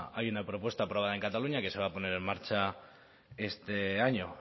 hay una propuesta aprobada en cataluña que se va a poner en marcha este año